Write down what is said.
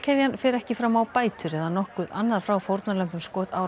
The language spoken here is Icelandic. fer ekki fram á bætur eða nokkuð annað frá fórnarlömbum